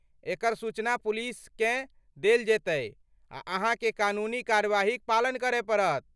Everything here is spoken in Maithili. एकर सूचना पुलिसकेँ देल जेतै आ अहाँके कानूनी कार्यवाहीक पालन करय पड़त।